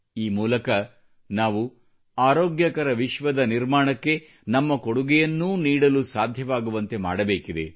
ಈ ಮೂಲಕ ನಾವು ಆರೋಗ್ಯಕರ ವಿಶ್ವದ ನಿರ್ಮಾಣಕ್ಕೆ ನಮ್ಮ ಕೊಡುಗೆಯನ್ನೂ ನೀಡಲು ಸಾಧ್ಯವಾಗುವಂತೆ ಮಾಡಬೇಕಿದೆ